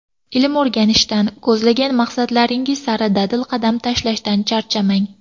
Ilm o‘rganishdan, ko‘zlagan maqsadlaringiz sari dadil qadam tashlashdan charchamang!